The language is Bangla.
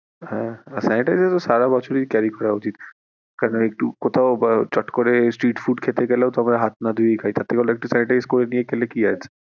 হ্যাঁ sanitizer তো সারাবছর ই use করা উচিৎ কারন একটু কোথাও চট করে street food খেতে গেলেও তোমার হাত না ধুয়েই খাই তার থেকে ভালো একটা sanitize করে খেলে কি আছে?